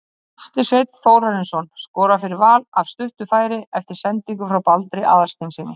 Atli Sveinn Þórarinsson skorar fyrir Val af stuttu færi eftir sendingu frá Baldri Aðalsteinssyni.